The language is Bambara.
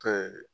Ka